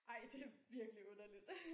Ej det virkelig underligt